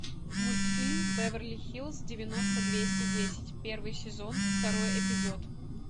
мультфильм беверли хиллз девяносто двести десять первый сезон второй эпизод